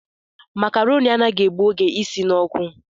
Macaroni anaghị egbu oge isi n'ọkụ